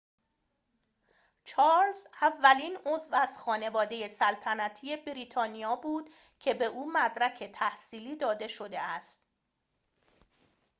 چارلز اولین عضو از خانواده سلطنتی بریتانیا بود که به او مدرک تحصیلی داده شده است